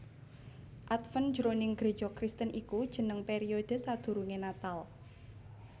Adven jroning Gréja Kristen iku jeneng periode sadurungé Natal